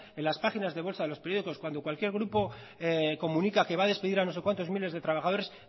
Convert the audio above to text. en las páginas de bolsa de los periódicos cuando cualquier grupo comunica que va a despedir a no se cuántos miles de trabajadores